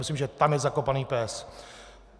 Myslím, že tam je zakopaný pes.